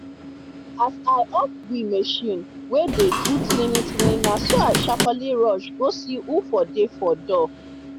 as i off we machine wen dey do tininitinini naso i sharperly rush go see who for dey for door